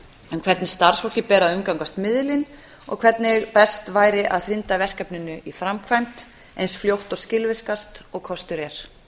um hvernig starfsfólki ber að umgangast miðilinn og hvernig best væri að hrinda verkefninu í framkvæmd eins fljótt og skilvirkt og kostur er